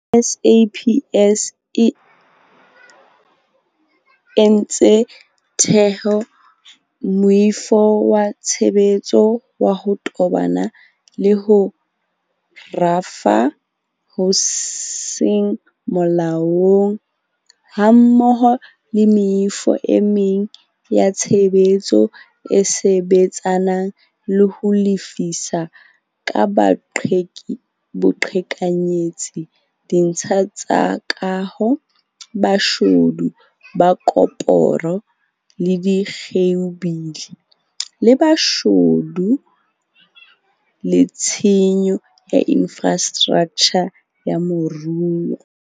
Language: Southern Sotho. SAPS e ntse e theha moifo wa tshebetso wa ho tobana le ho rafa ho seng molaong, hammoho le meifo e meng ya tshebetso e sebetsanang le ho lefisa ka boqhekanyetsi ditsha tsa kaho, boshodu ba koporo le dikheibole, le boshodu le tshenyo ya infrastraktjha ya moruo.